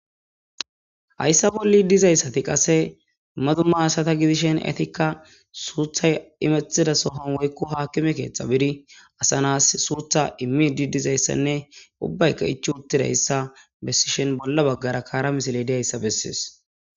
Hayssa bolli dizayssati qase madumma asata gidishen etikka suuthay imethida sohon woykku haakkime keeththa bidi asa nas suutha immi di dizayssanne ubbaykka ichi uttida ssa bessishhen bolla baggara kaara misili dihayssa bessees.